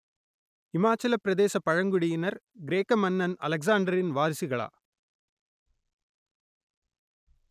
இமாச்சலப் பிரதேசப் பழங்குடியினர் கிரேக்க மன்னன் அலெக்சாண்டரின் வாரிசுகளா?